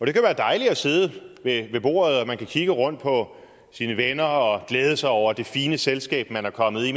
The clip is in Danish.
og det kan være dejligt at sidde ved bordet og man kan kigge rundt på sine venner og glæde sig over det fine selskab man er kommet i